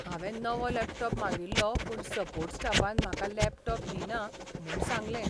हांवें नवो लॅपटॉप मागिल्लो पूण सपोर्ट स्टाफान म्हाका लॅपटॉप दिना म्हूण सांगलें.